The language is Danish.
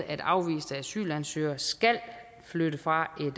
at afviste asylansøgere skal flytte fra